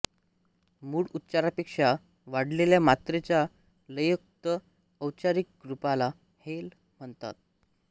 मूळ उच्चारापेक्षा वाढलेल्या मात्रेच्या लययुक्त औच्चारिक रूपाला हेल म्हणतात